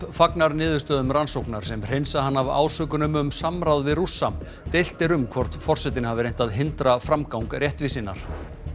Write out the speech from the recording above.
fagnar niðurstöðum rannsóknar sem hreinsa hann af ásökunum um samráð við Rússa deilt er um hvort forsetinn hafi reynt að hindra framgang réttvísinnar